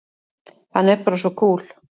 Hann er bara svo kúl!